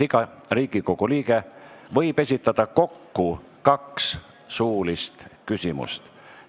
Iga Riigikogu liige võib esitada kokku kaks suulist küsimust.